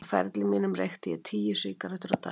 Á ferli mínum reykti ég tíu sígarettur á dag.